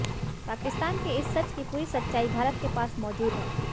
पाकिस्तान के इस सच की पूरी सच्चाई भारत के पास मौजूद है